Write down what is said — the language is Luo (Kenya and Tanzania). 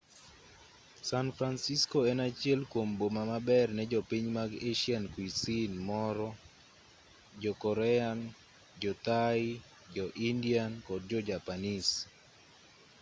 san francisco en achiel kuom boma maber ne jopiny mag asian cuisine moro jo korean jo thai jo indian kod jojapanese